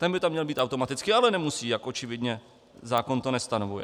Ten by tam měl být automaticky, ale nemusí, jak očividně zákon to nestanovuje.